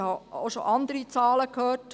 ich habe auch schon andere Zahlen gehört.